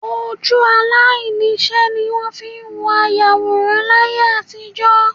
Ojú aláìníṣẹ́ ní wọ́n fi ń wo ayàwòrán láyé àtijọ́